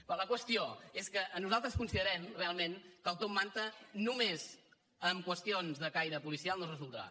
bé la qüestió és que nosaltres considerem realment que el top manta només amb qüestions de caire policial no es resoldrà